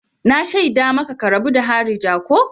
Na shaida maka ka rabu da harija ko!